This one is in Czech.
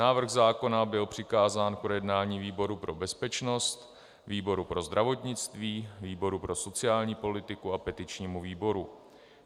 Návrh zákona byl přikázán k projednání výboru pro bezpečnost, výboru pro zdravotnictví, výboru pro sociální politiku a petičnímu výboru.